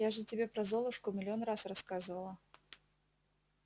я же тебе про золушку миллион раз рассказывала